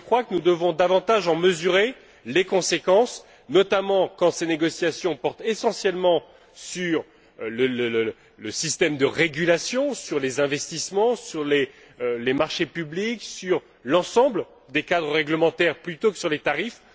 Nous devons davantage en mesurer les conséquences, notamment quand ces négociations portent essentiellement sur le système de régulation, sur les investissements, sur les marchés publics, sur l'ensemble des cadres réglementaires plutôt que sur les tarifs.